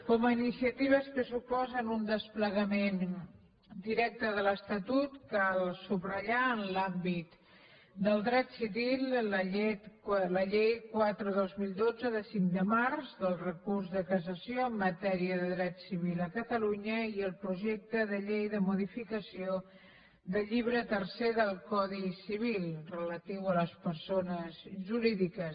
com a iniciatives que suposen un desplegament directe de l’estatut cal subratllar en l’àmbit del dret civil la llei quatre dos mil dotze de cinc de març del recurs de cassació en matèria de dret civil a catalunya i el projecte de llei de modificació del llibre tercer del codi civil relatiu a les persones jurídiques